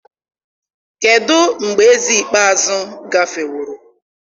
kedụ mgbe eze ikpeazụ gafeworo?